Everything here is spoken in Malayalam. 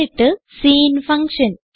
എന്നിട്ട് സിൻ ഫങ്ഷൻ